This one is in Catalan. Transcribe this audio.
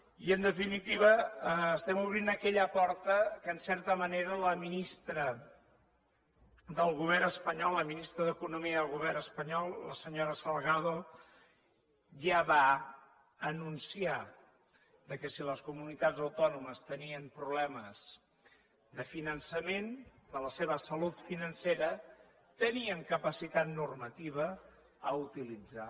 i en definitiva estem obrint aquella porta que en certa manera la ministra del govern espanyol la ministra d’economia del govern espanyol la senyora salgado ja va anunciar que si les comunitats autònomes tenien problemes de finançament de la seva salut financera tenien capacitat normativa a utilitzar